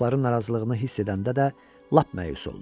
Qonaqların narazılığını hiss edəndə də lap məyus oldu.